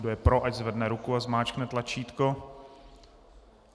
Kdo je pro, ať zvedne ruku a zmáčkne tlačítko.